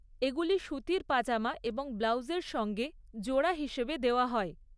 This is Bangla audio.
এগুলি সুতির পাজামা এবং ব্লাউজের সঙ্গে জোড়া হিসেবে দেওয়া হয়।